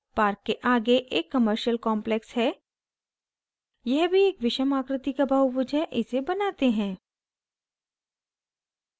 park के आगे एक commercial complex है यह भी एक विषम आकृति का बहुभुज है इसे बनाते हैं